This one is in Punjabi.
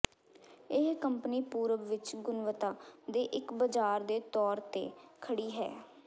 ਇਹ ਕੰਪਨੀ ਪੂਰਬ ਵਿਚ ਗੁਣਵੱਤਾ ਦੇ ਇੱਕ ਬਜ਼ਾਰ ਦੇ ਤੌਰ ਤੇ ਖੜੀ ਹੈ